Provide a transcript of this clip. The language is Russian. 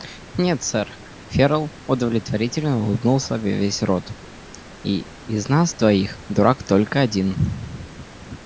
нет сэр ферл удовлетворительно улыбнулся во весь рот и из нас двоих дурак только один